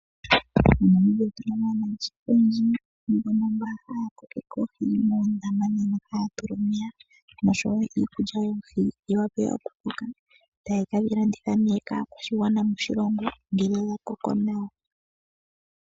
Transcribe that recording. MoNamibia otu na mo aanangeshefa oyendji mbono haya kokeke oohi moondama mono haya tula omeya noshowo iikulya yoohi dhi wape okukoka, taye kedhi landitha nee kaakwashigwana moshilongo ngele dha koko nawa.